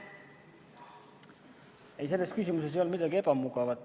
Ei, selles küsimuses ei olnud midagi ebamugavat.